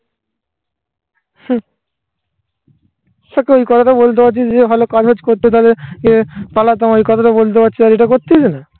হ্যাঁ. এখন ওই কথাটা বলতে পারছিস যে ভালো collect করতে তাহলে যে পালাতাম এই কথাটা বলতে পারছি না. যেটা করছিস?